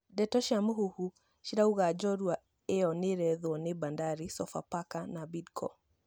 Ndeto cia mũhũhũ ciraiga njorua ĩyo nĩ ĩretho nĩ Bandari, Sofapaka na Bidco